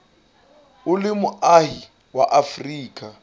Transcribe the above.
o le moahi wa afrika